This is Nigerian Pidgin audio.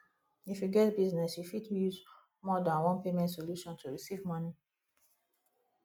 if you get business you fit use more than one payment solution to recieve money